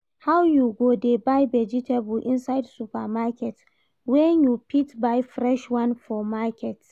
How you go dey buy vegetable inside supermarket when you fit buy fresh one for market?